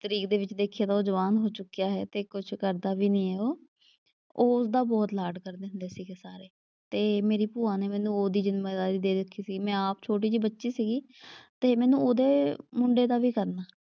ਤਰੀਕ ਦੇ ਵਿੱਚ ਦੇਖੀਏ ਤਾਂ ਉਹ ਜਵਾਨ ਹੋ ਚੁੱਕਿਆ ਹੈ ਤੇ ਕੁਛ ਕਰਦਾ ਵੀ ਨਈ ਉਹ। ਉਹ ਉਸਦਾ ਬਹੁਤ ਲਾਡ ਕਰਦੇ ਹੁੰਦੇ ਸੀਗੇ ਸਾਰੇ, ਤੇ ਮੇਰੀ ਭੂਆ ਨੇ ਮੈਨੂੰ ਉਹਦੀ ਜਿੰਮੇਦਾਰੀ ਦੇ ਰੱਖੀ ਸੀ ਮੈਂ ਆਪ ਛੋਟੀ ਜਿਹੀ ਬੱਚੀ ਸੀਗੀ, ਤੇ ਮੈਨੂੰ ਉਹਦੇ ਮੁੰਡੇ ਦਾ ਵੀ ਕਰਨਾ।